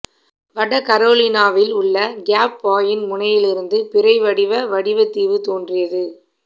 வட கரோலினாவில் உள்ள கேப் பாயின் முனையிலிருந்து பிறை வடிவ வடிவ தீவு தோன்றியது